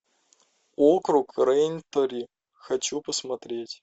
округ рэйнтри хочу посмотреть